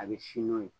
A bɛ si n'o ye